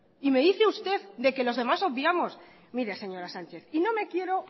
y me dice usted de que los demás obviamos mire señora sánchez y no me quiero